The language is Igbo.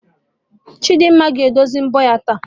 Chidimma ga-edozi mbọ ya taa